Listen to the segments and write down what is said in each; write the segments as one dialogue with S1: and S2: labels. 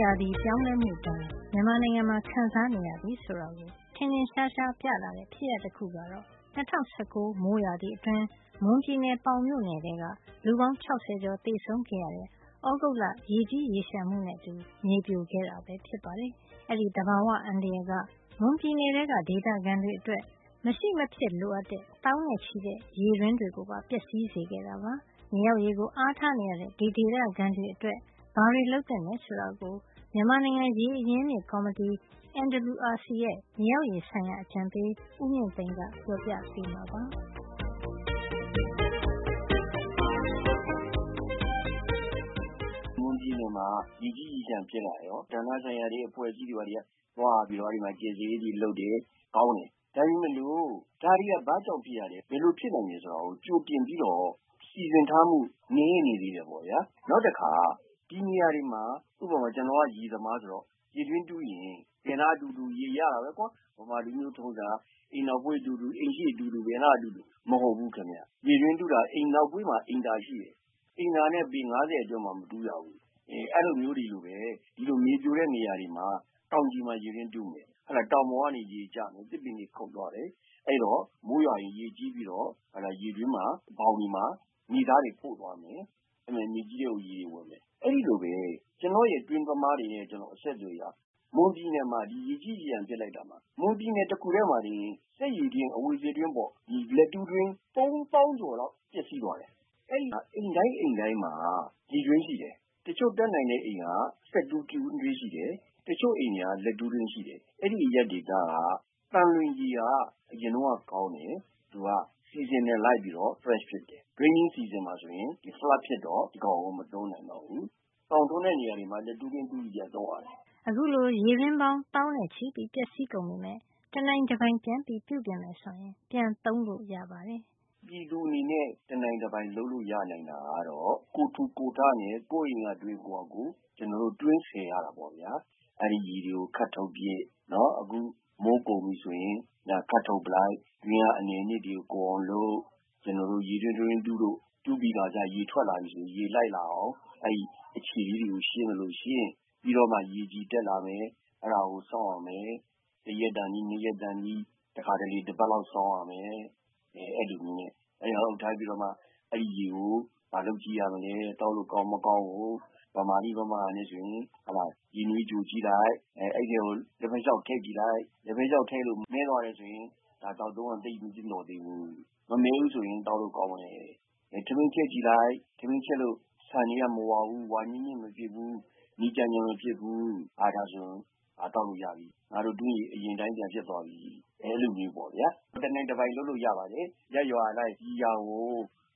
S1: ရာသီ ပြောင်းလဲမှုဒဏ်ကို မြန်မာနိုင်ငံမှာ ခံစားနေရပြီဆိုတာကို ထင်ထင်ရှားရှားပြလာတဲ့ဖြစ်ရပ်တခုကတော့ ၂၀၁၉ မိုးရာသီအတွင်း မွန်ပြည်နယ်၊ ပေါင်မြို့နယ်ထဲ လူပေါင်း ၆၀ ကျော် သေဆုံးခဲ့ရတဲ့ သြဂုတ်လ ရေကြီးရေလျှံမှုနဲ့အတူ မြေပြိုခဲ့တာပဲ ဖြစ်ပါတယ်။ အဲဒီ သဘာဝ အန္တရာယ်က မွန်ပြည်နယ်ထဲကဒေသခံတွေအတွက် မရှိမဖြစ်လိုအပ်တဲ့ သောင်းနဲ့ချီတဲ့ရေတွင်းတွေကိုပါ ပျက်စီးစေခဲ့တာပါ။ မြေအောက်ရေကို အားထားနေရတဲ့ ဒီဒေသခံတွေအတွက် ဘာတွေလုပ်သင့်တယ်ဆိုတာကို မြန်မာနိုင်ငံ ရေအရင်းအမြစ် ကော်မတီ NWRC ရဲ့ မြေအောက်ရေဆိုင်ရာ အကြံပေး ဦးမြင့်သိန်းက ပြောပြပေးမှာပါ။ ဦးမြင့်သိန်း။
S2: ။ “မွန်ပြည်နယ်မှာ ရေကြီးရေလျှံဖြစ်လာတော့ ဌာနဆိုင်ရာအဖွဲ့အစည်းတွေက သွားပြီး ကယ်ဆယ်ရေးတွေလုပ်တယ်။ ကောင်းတယ်။ ဒါပေမယ့်လို့ ဒါတွေက ဘာကြောင့်ဖြစ်ရတယ်၊ ဘယ်လိုဖြစ်နိုင်တယ်ဆိုတာကို ကြိုပြင်ပြီးတော့ စီစဉ်ထားမှု နည်းနေသေး တယ်ပေါ့ဗျာ။ နောက်တခါ ဒီနေရာတွေမှာ ဥပမာ-ကျနော်ကရေသမားဆိုတော့ ရေတွင်းတူးရင် ဘယ်နားတူးတူး ရေရတာပဲကွာ- ဗမာ လူမျိုးထုံးစံက- အိမ်နောက်ဖေးတူးတူး၊ အိမ်ရှေ့တူးတူး၊ ဘယ်နားတူးတူး- မဟုတ်ဘူးခင်ဗျ။ ရေတွင်းတူးတာ အိမ်နောက်ဖေးမှာ အိမ်သာ ရှိတယ်။ အိမ်သာနဲ့ ပေ ၅၀ အတွင်းမှာ မတူးရဘူး။ အဲလိုမျိုးတွေလိုပဲ၊ ဒီလို မြေပြိုတဲ့နေရာတွေမှာ တောင်ခြေမှာ ရေတွင်းတူးတယ်။ တောင်ပေါ်ကနေ ရေတွေကျမယ်။ သစ်ပင်တွေခုတ်သွားတယ်။ အဲဒီတော့ မိုးရွာရင်ရေကြီးပြီးတော့ ရေတွင်းဘောင်တွေမှာ မြေသားတွေ ပို့သွားမယ်။ မြေကြီးထဲကို ရေတွေဝင်မယ်။ အဲဒီလိုပဲ ကျနော့ရဲ့တွင်းသမားတွေနဲ့ ကျနော် အဆက်အသွယ်ရတယ်။ မွန်ပြည်နယ်မှာ ရေကြီး ရေလျှံဖြစ်လိုက်တော့ မွန်ပြည်နယ်တခုတည်းမှာ စက်ရေတွင်း၊ အဝီစိတွင်းပေါင်း - လက်တူးတွင်း… ၃ သောင်းကျော်လောက် ပျက်စီးသွား တယ်။ အဲဒီမှာက အိမ်တိုင်းအိမ်တိုင်းမှာ ရေတွင်းရှိတယ်။ တချို့ တတ်နိုင်တဲ့အိမ်က စက်တွင်းတူးတယ်။ တချို့အိမ်တွေက လက်တူးတွင်း ရှိတယ်။ အဲဒီအရပ်ဒေသက သံလွင်ရေက အရင်တုန်းကကောင်းတယ်။ သူက seasonal ရာသီကို လိုက်ပြီးတော့ fresh ဖြစ်တယ်။ raining season မိုးရာသီမှာဆိုရင် ရေကြီး flood ဖြစ်တော့ ဒီကောင်ကို မသုံးနိုင်တော့ဘူး။ သောင်ထွန်းတဲ့နေရာတွေမှာ လက်တူးတွင်းတူးပြီး ပြန်သုံးရတယ်
S1: ။” အခုလို ရေတွင်းပေါင်း သောင်းနဲ့ချီပျက်စီးကုန်ပေမယ့် တနိုင်တပိုင် ပြန်ပြင်မယ်ဆိုရင် ပြန်သုံးလို့ ရပါတယ်
S2: ။ ဦးမြင့်သိန်း။ ။ “ပြည်သူအနေနဲ့ တနိုင်တပိုင်လုပ်လို့ ရနိုင်တာကတော့ ကိုယ်ထူကိုယ်ထနဲ့ ကိုယ့်အိမ်ကတွင်း ကိုယ့်ဟာကိုယ် တွင်းဆယ်ရ တာပေါ့ဗျာ။ အဲဒီရေတွေကို ခပ်ထုတ်ပစ်၊ မိုးကုန်ပြီဆိုရင် ခပ်ထုတ်ပစ်လိုက်။ တွင်းထဲက အနယ်အနှစ်တွေကို ကုန်အောင်လုပ်။ ရေတွင်း တတွင်းတူးလို့ တူးပြီးခါစ ရေထွက်လာရင် ရေလိုက်လာအောင် လုပ်သလို အဲဒီ အခြေလေးတွေကို ရှင်းသလို ရှင်း။ ပြီးတော့မှ ရေကြည် တက်လာရင် အဲဒါကို စောင့်ရမယ်။ တရက်တန်သည်၊ ၂ ရက်တန်သည်၊ တခါတလေ တပတ်လောက်စောင့်ရမယ်။ အဲဒီတော့မှ အဲဒီရေကို ဘာလုပ်ကြည့်ရမလဲ- သောက်လို့ကောင်းမကောင်းကို ဗမာ့နည်း ဗမာ့ဟန်နဲ့ဆိုရင် ရေနွေးကျိုကြည့်လိုက်၊ အဲဒီထဲကို လက်ဖက်ခြောက် ထည့်ကြည့်လိုက်။ လက်ဖက်ခြောက်ထည့်လို့ မည်းသွားတယ်ဆိုရင် ဒါ သောက်သုံးရန် သိပ်မသင့်တော်သေးဘူး။ မမည်းဘူးဆိုရင် သောက်လို့ ကောင်းတယ်။ ထမင်းချက်ကြည့်လိုက်၊ ထမင်းချက်လို့ ဆန်တွေက မဝါဘူး၊ ဝါညစ်ညစ်မဖြစ်ဘူး၊ နီကျန်ကျန်မဖြစ်ဘူး- ဟာ၊ ဒါဆိုရင် သောက်လို့ရပြီ။ ငါတို့တွင်းရေ အရင်အတိုင်း ပြန်ဖြစ်သွားပြီ။ အဲလိုမျိုးပေါ့ဗျာ။ တနိုင်တပိုင် လုပ်လို့ရပါတယ်။ ရပ်ရွာအလိုက် ဒီဟာကို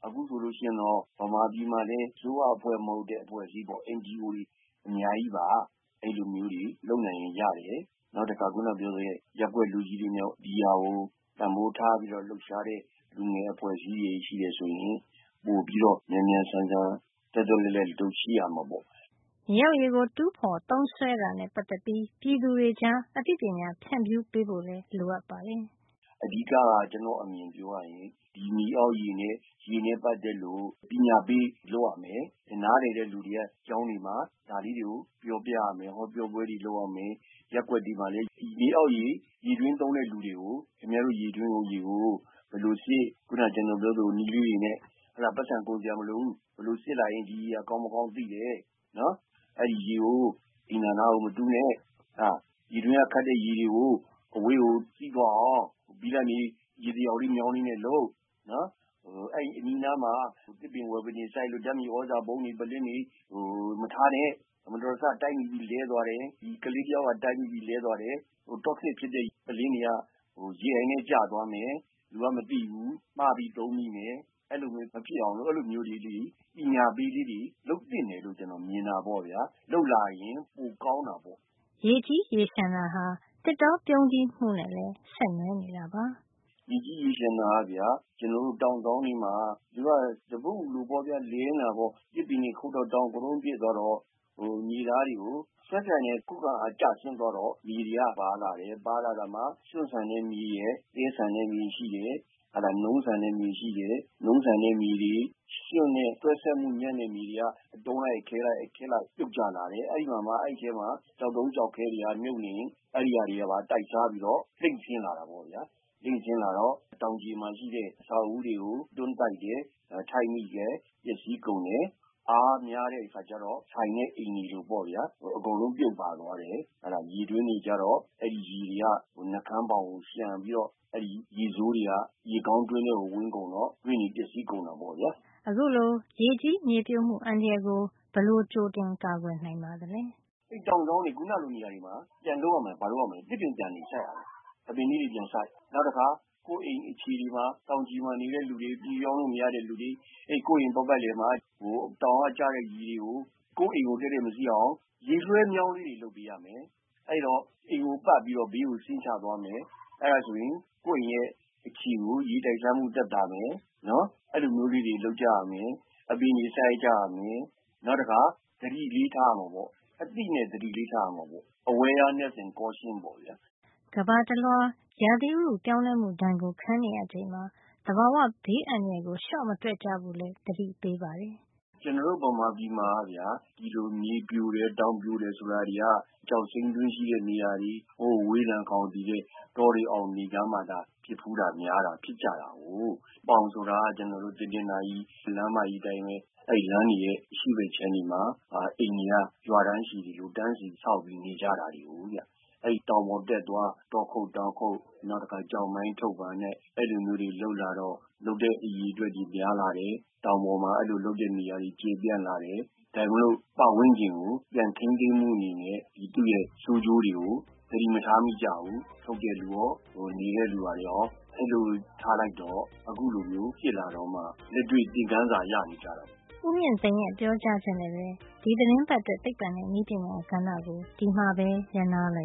S2: အခုဆိုလို့ရှိရင်တော့ ဗမာပြည်မှာလည်း အစိုးရမဟုတ်တဲ့အဖွဲ့အစည်းပေါ့၊ NGO တွေအများကြီးပါ။ အဲလိုမျိုးတွေ လုပ်နိုင်ရင်ရတယ်။ နောက် တခါ ခုနပြောတဲ့ရပ်ကွက်လူကြီးတွေနဲ့ ဒီဟာကို တန်ဖိုးထားပြီးတော့ လှုပ်ရှားတဲ့လူငယ်အဖွဲ့အစည်းတွေရှိတယ်ဆိုရင် ပိုပြီးတော့ မြန်မြန်ဆန်ဆန် သွက်သွက်လက်လက် ဒီလို ရှိရမှာပေါ့။
S1: ” မြေအောက်ရေကို တူးဖေါ်သုံးစွဲတာနဲ့ ပတ်သက်ပြီး ပြည်သူတွေကြား အသိပညာ ဖြန့်ဖြူးပေးဖို့လည်း လိုအပ်ပါတယ်။
S2: ဦးမြင့်သိန်း။ ။ “အဓိက-က ကျနော့်အမြင်ပြောရရင် ဒီမြေအောက်ရေနဲ့ပတ်သက်လို့ ပညာပေးလုပ်ရမယ်။ နားလည်တဲ့လူတွေက ကျောင်း တွေမှာ ဒါလေးတွေကို ပြောပြရမယ်၊ ဟောပြောပွဲတွေ လုပ်ရမယ်။ ရပ်ကွက်တွေမှာလည်း မြေအောက်ရေ ရေတွင်းသုံးတဲ့လူတွေကို ခင်ဗျားတို့ ရေတွင်းရေကို ဘယ်လိုစစ်၊ အခုနက ကျနော်ပြောတဲ့နည်းလေးတွေနဲ့ ပိုက်ဆံကုန်စရာမလိုဘူး။ ဘယ်လိုစစ်လိုက်ရင် ဒီရေဟာ ကောင်းမကောင်း သိတယ်။ အဲဒီရေကို အိမ်သာနားကို မတူးနဲ့၊ ဒီတွင်းကခပ်တဲ့ရေတွေကို အဝေးကိုစီးသွားအောင် ဘိလပ်မြေ ရေတံလျောက် မြောင်းလေးနဲ့လုပ်၊ အဲဒီအနီးအနားမှာ သစ်ပင်ဝါးပင်တွေစိုက်လို့ ဓာတ်မြေသြဇာပုံးတွေ၊ ပုလင်းတွေမထားနဲ့။ မတော်တဆတိုက်မိပြီး လဲသွား တယ်၊ toxic ဖြစ်တဲ့ပုလင်းတွေက ရေအိုင်ထဲကျသွားမယ်။ လူကမသိဘူး၊ မှားပြီးသုံးမိမယ်။ အဲလိုမျိုးမဖြစ်အောင်လို့ အဲလိုမျိုးပညာပေး လေးတွေ လုပ်သင့်တယ်လို့ မြင်တာပေါ့ဗျာ။ လုပ်လာရင် ပိုကောင်းတာပေါ
S1: ့။” ရေကြီးရေလျှံတာဟာ သစ်တောပြုန်းတီးမှုနဲ့လည်း ဆက်နွယ်နေတာပါ။
S2: ဦးမြင့်သိန်း။ ။ “ရေကြီးရေလျှံတာက တောင်စောင်းတွေမှာ သပွတ်အူလိုပေါ့ဗျာ-လည်နေတာပေါ့။ သစ်ပင်တွေခုတ်လို့ တောင်ကတုံးဖြစ် သွားတော့ မြေသားတွေက ခုခံအားကျသွားတော့ မြေတွေက ပါလာတယ်။ ပါလာတာမှာ ရွှံ့ဆန်တဲ့မြေရယ်၊ သဲဆန်တဲ့မြေရှိတယ်။ နုန်း ဆန်တဲ့မြေရှိတယ်။ နုန်းဆန်တဲ့မြေတွေ၊ ရွှံ့နဲ့တွဲစပ်မှု ညံ့တဲ့မြေတွေက အတုံးလိုက်၊ အခဲလိုက် ပြုတ်ကျလာတယ်။ အဲဒီမှာမှ ကျောက်တုံး ကျောက်ခဲတွေကမြုပ်နေရင် အဲဒီဟာတွေကပါ တိုက်စားပြီးတော့ လှိမ့်ဆင်းလာတာပေါ့ဗျာ။ လိမ့်ဆင်းလာတော့ တောင်ခြေမှာရှိတဲ့ အဆောက်အဦးတွေကို တွန်းတိုက်တယ်၊ ခိုက်မိတယ်။ ပျက်စီးကုန်တယ်။ အားများတဲ့အခါကျတော့……… အကုန်လုံးပြုတ်ပါသွားတယ်။ ရေတွင်းတွေကျတော့ အဲဒီရေတွေက နှုတ်ခမ်းဘောင်ကို လျှံပြီးတော့ ရေဆိုးတွေက ရေကောင်းတွင်းထဲကို ဝင်ကုန်တော့ တွင်းတွေ ပျက်စီးကုန်တာပေါ့ဗျာ
S1: ။ အခုလို ရေကြီးမြေပြိုမှု အန္တရာယ်ကို ဘယ်လို ကြိုတင်ကာကွယ် နိုင်ပါသလဲ
S2: ။ ဦးမြင့်သိန်း။ ။ “တောင်စောင်းလိုနေရာတွေမှာ ပြန်လုပ်ရမယ်။ ဘာတွေလုပ်ရမလဲဆိုတော့ သစ်ပင်တွေ ပြန်စိုက်ရမယ်။ အပင်လေးတွေ ပြန်စိုက်၊ နောက်တခါ ကိုယ့်အိမ်အခြေတွေမှာ တောင်ခြေမှာနေတဲ့လူတွေ၊ ပြောင်းလို့မရတဲ့လူတွေ ကိုယ့်အိမ်ပတ်ပတ်လည်မှာ တောင်က ကျတဲ့ရေတွေ ကိုယ့်အိမ်ကို တည့်တည့်မစီးအောင်ရေလွှဲမြောင်းလေးတွေ လုပ်ပေးရမယ်။ အဲဒီတော့ အိမ်ကိုပတ်ပြီး ဘေးကိုဆင်းချသွားမယ်။ အဲဒါဆိုရင် ကိုယ့်အိမ်ရဲ့အခြေကို ရေတိုက်စားမှုသက်သာမယ်။ အဲလိုမျိုးလေးတွေ လုပ်ကြရမယ်။ အပင်တွေ စိုက်ကြရမယ်။ နောက်တခါ သတိလေးထားရမှာပေါ့။ အသိနဲ့သတိလေးထားရမှာပေါ့။ awareness and caution ပေါ့။” ဥတ
S1: ုရာသီပြောင်းလဲမှု ဒဏ်ကိုခံနေရချိန်မှာ သဘာဝဘေး အန္တရာယ်ကို လျှော့မတွက်ကြဖို့လည်း သတိပေးပါတယ်
S2: ။ “ကျနော်တို့ မြန်မာနိုင်ငံမှာက ဒီလိုတောင်ပြိုတယ် မြေပြိုတယ် ဆိုတာတွေက ကျောက်စိမ်းတွင်းရှိတဲ့နေရာတွေ၊ ဝေးလံခေါင်သီတဲ့ တောတွေတောင်တွေကြားမှာသာ ဖြစ်ဖူးတာ များတာတွေ့ကြရတာကိုး။ အခုပေါင်ဆိုတာက ကျနော်တို့ တနင်္သာရီသွားတဲ့ လမ်းမကြီး အတိုင်းပဲ အဲဒီလမ်းတွေရဲ့ အရှေ့ဘက် အခြမ်းတွေမှာ အိမ်တွေက ရွာတန်းရှည်တွေလို တန်းစီပြီး ဆောက်ပြီး နေကြတာကိုးဗျ။ အဲဒီ တောင်ပေါ် တက်သွား တောခုတ်၊ တောင်ခုတ်၊ နောက်တခါ ကျောက်မိုင်းထုတ်တာနဲ့ အဲလိုမျိုးတွေ လုပ်လာတော့ လုပ်တဲ့ အရေအတွက်တွေ များလာတယ်။ တောင်ပေါ်မှာ အဲလို လုပ်တဲ့နေရာတွေ ကျယ်ပြန့်လာတယ်။ ဒါပေမယ့်လို့ ပတ်ဝန်းကျင်ကို ပြန်ထိမ်းသိမ်းဖို့တွေနဲ့ သူ့ရဲ့ ဆိုးကျိုးတွေကို သတိမထားမိကြဘူး။ ထုတ်တဲ့လူကရော၊ နေတဲ့လူကရော အဲဒီလို ထားလိုက်တော့ အခုလိုမျိုး ဖြစ်လာတော့မှ လက်တွေ့ သင်ခန်းစာ ရခဲ့ကြ
S1: တာကိုး။” ဦးမြင့်သိန်းရဲ့ ပြောကြားချက်နဲ့ပဲ ဒီသီတင်းပတ်အတွက် သိပ္ပံနဲ့နည်းပညာ ကဏ္ဍကို ဒီမှာပဲ ရပ်နားလိုက်ပ